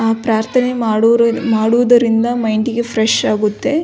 ಅ ಪ್ರಾರ್ಥನೆ ಮಾಡುರ ಮಾಡುವುದರಿಂದ ಮೈಂಡಿಗೆ ಫ್ರೆಶ್ ಆಗುತ್ತೆ .